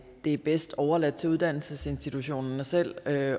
er bedst overladt til uddannelsesinstitutionerne selv at